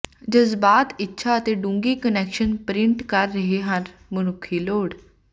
ਜਜ਼ਬਾਤ ਇੱਛਾ ਅਤੇ ਡੂੰਘੀ ਕੁਨੈਕਸ਼ਨ ਪਰਿੰਟ ਕਰ ਰਹੇ ਹਨ ਮਨੁੱਖੀ ਲੋੜ